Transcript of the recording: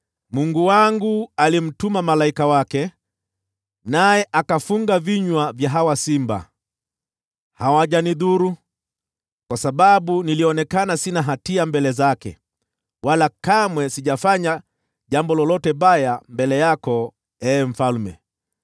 Mungu wangu alimtuma malaika wake, naye akafunga vinywa vya hawa simba. Hawajanidhuru, kwa sababu nilionekana sina hatia mbele zake. Wala kamwe sijafanya jambo lolote baya mbele yako, ee mfalme.”